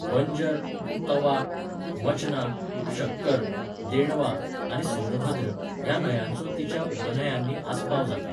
बंजर, तवा, मचना, शक्कर, देणवा आनी सोनभद्र ह्या न्हंयांचो तिच्या उपन्हंयांनी आस्पाव जाता.